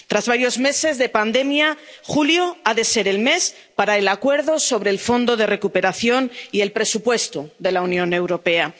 Tras varios meses de pandemia, julio ha de ser el mes para el acuerdo sobre el fondo de recuperación y el presupuesto de la Unión Europea.